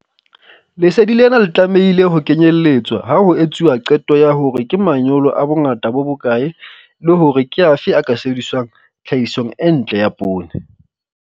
Lesedi lena le tlamehile ho kenyeletswa ha ho etsuwa qeto ya hore ke manyolo a bongata bo bokae le hore ke afe a ka sebediswang tlhahisong e ntle ya poone.